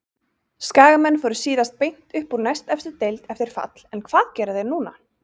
Skagamenn fóru síðast beint upp úr næstefstu deild eftir fall en hvað gera þeir núna?